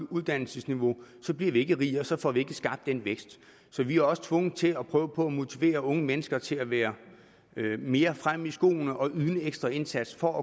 uddannelsesniveau bliver vi ikke rigere og så får vi ikke skabt den vækst så vi er også tvunget til at prøve på at motivere unge mennesker til at være mere fremme i skoene og yde en ekstra indsats for at